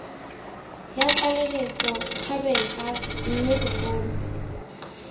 ya tlaleletso kgabetsa mme bogolo